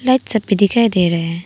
एक छत भी दिखाई दे रहे हैं।